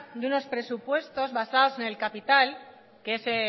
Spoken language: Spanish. de unos presupuestos basados en el capital que es el